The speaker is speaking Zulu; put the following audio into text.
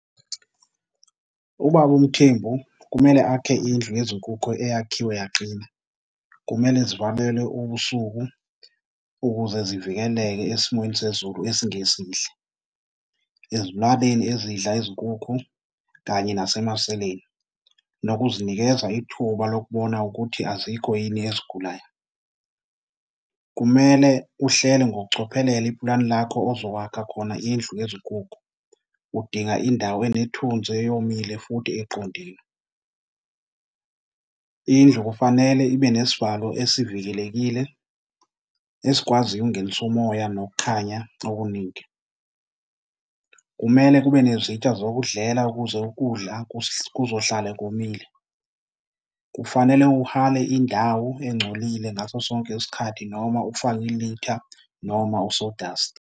Ubaba uMthembu kumele akhe indlu yezinkukhu eyakhiwe yaqina. Kumele zivalelwe ubusuku ukuze zivikeleke esimweni sezulu esingesihle, ezilwaneni ezidla izinkukhu kanye nasemaseleni nokuzinikeza ithuba lokubona ukuthi azikho yini ezigulayo. Kumele uhlele ngokucophelela iplani lakho ozowakha khona indlu yezinkukhu. Udinga indawo enethuzi, eyomile futhi eqondile. Indlu kufanele ibe nesivalo esivikelekile esikwaziyo ukungenisa umoya nokukhanya okuningi. Kumele kube nezitsha zokudlela ukuze ukudla kuzohlale komile. Kufanele uhale indawo engcolile ngaso sonke isikhathi noma ufake ilitha noma u-sawdust.